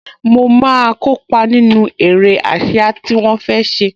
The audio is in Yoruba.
Mo máa kópa nínú eré ásíá tí wọ́n fẹ́ ṣe